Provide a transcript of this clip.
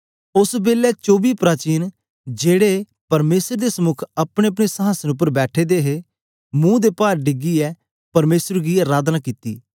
ओस बेलै चोबीसें प्राचीन जेड़े परमेसर दे समुक अपनेअपने संहासन उपर बैठे दे हे मुंह दे पार डिगैए परमेसर गी अराधना कित्ता